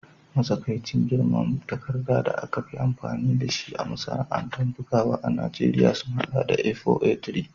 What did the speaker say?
Matsakaicin girman takarda da aka fi amfani da shi a masana'antar bugawa ta Najeriya sun haɗa da A4, A3